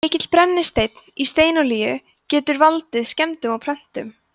mikill brennisteinn í steinolíunni getur valdið skemmdum á plöntunum